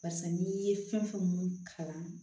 Barisa n'i ye fɛn fɛn mun kalan